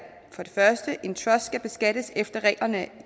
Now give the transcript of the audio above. en trust skal beskattes efter reglerne